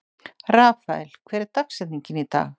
Rafael, hver er dagsetningin í dag?